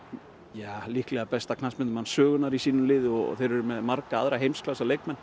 ja líklega besta knattspyrnumann sögunnar í sínu liði og þeir eru með marga aðra